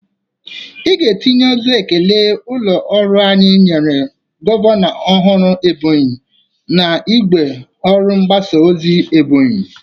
Ị ga-etinye ozi ekele ụlọ ọrụ anyị nyere gọvanọ ọhụrụ Ebonyi n'igwe ọrụ ngbasa ozi Ebonyi!